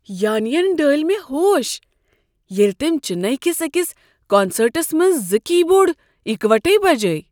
یانی ین ڈٲلۍ مےٚ ہوش ییٚلہ تٔمۍ چننے کس أکس کونسٲرٹس منٛز زٕ کی بورڈ یکوٹے بجٲے۔